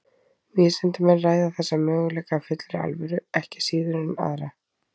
Vísindamenn ræða þessa möguleika af fullri alvöru ekki síður en aðra.